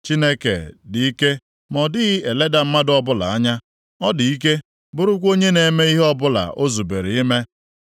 “Chineke dị ike ma ọ dịghị eleda mmadụ ọbụla anya; ọ dị ike, bụrụkwa onye na-eme ihe ọbụla o zubere ime.